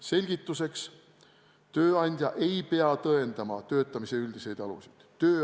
Selgituseks: tööandja ei pea tõendama töötamise üldiseid aluseid.